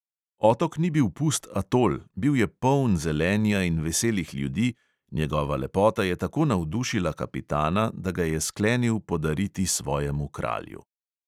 Otok ni bil pust atol, bil je poln zelenja in veselih ljudi, njegova lepota je tako navdušila kapitana, da ga je sklenil podariti svojemu kralju.